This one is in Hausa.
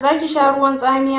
Zaki sha ruwan tsamiya?